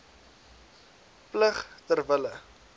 plig ter wille